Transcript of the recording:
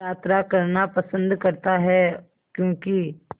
यात्रा करना पसंद करता है क्यों कि